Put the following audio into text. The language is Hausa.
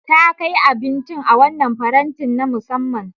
Ta kai abincin a wannan farantin na musamman.